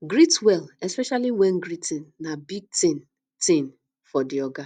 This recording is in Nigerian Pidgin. greet well especially when greeting na big thing thing for di oga